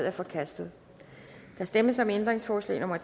er forkastet der stemmes om ændringsforslag nummer